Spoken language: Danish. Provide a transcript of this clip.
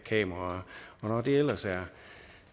kameraer og når det ellers